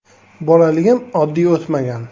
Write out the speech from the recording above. Bolaligim oddiy o‘tmagan.